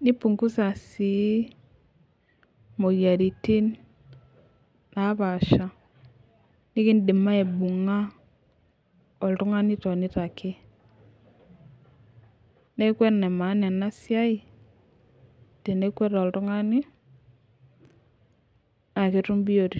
nipunhuza sii moyiaritin napashaa nikidim aibung'a oltung'ani etonita ake nee Kun enemaana enasiai tenekwet oltung'ani naa ketum biotisho